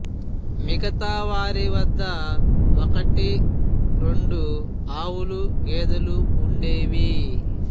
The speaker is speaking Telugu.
మిగతా వారి వద్ద ఒకటి రెండు ఆవులు గేదెలు వుండేవి